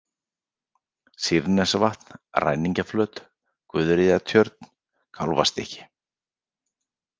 Sýrnesvatn, Ræningjaflöt, Guðríðartjörn, Kálfastykki